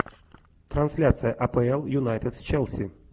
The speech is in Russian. трансляция апл юнайтед с челси